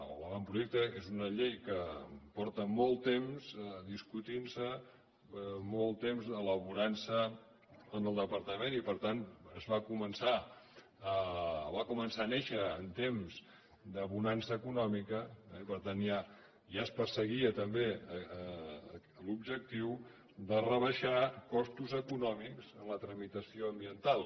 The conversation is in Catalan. o l’avantprojecte és una llei que fa molt temps que es discuteix molt temps que s’elabora en el departament i per tant va començar a néixer en temps de bonança econòmica i per tant ja es perseguia també l’objectiu de rebaixar costos econòmics en la tramitació ambiental